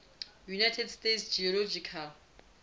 united states geological